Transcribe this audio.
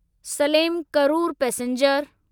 Salem Karur passenger